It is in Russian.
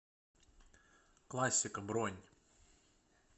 классика бронь